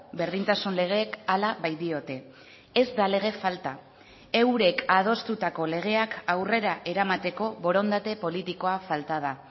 berdintasun legeek hala baitiote ez da lege falta eurek adostutako legeak aurrera eramateko borondate politikoa falta da